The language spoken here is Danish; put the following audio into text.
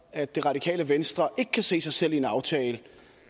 at det radikale venstre ikke kan se sig selv i en aftale